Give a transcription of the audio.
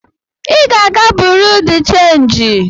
I ga-aga buro de chanji!